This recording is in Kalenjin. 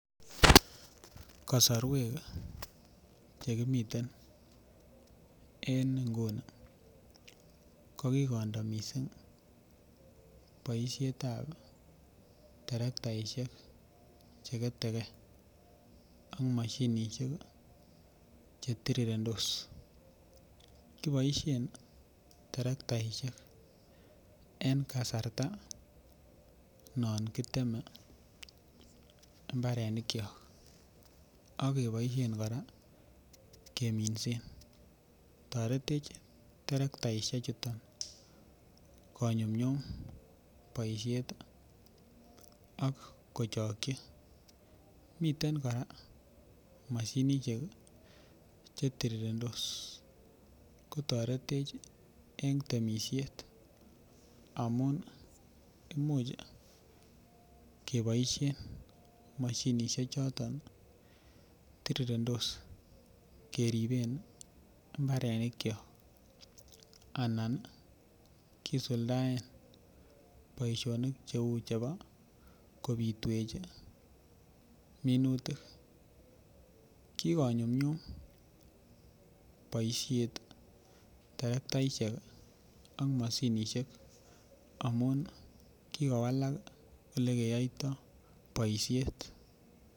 Kasorwek chekimiten en Nguni kokikondo mising boishetabi terektaishek cheketekee ak moshinishek chetirirendos kiboishen terektaishek en kasarta non kiteme mbarenikyok ak keboishen kora keminsen toretech terektaishek chuton konyumnyum boishet ak kochoky miten kora moshinishek chetirirendos ak kotoretech en temishiet amun imuch keboishen moshinishek choton tirirendos keribsen mbarenikyok anan kisuldaen boishonik cheu chebo kobirwechi minutik kikonyumnyum boishet terektaishek ak moshinishek amun kikowalak ele keyoito boishet